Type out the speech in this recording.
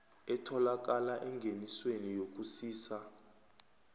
etholakala engenisweni yokusisa